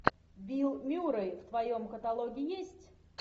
билл мюррей в твоем каталоге есть